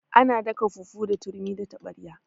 Ana daka fufu da turmi da taɓarya